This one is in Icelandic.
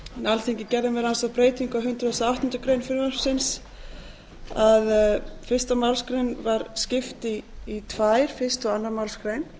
alþingi gerði meðal annars þá breytingu á hundrað og átta greinar að ein málsgrein var skipt í tvær fyrstu og annarri málsgrein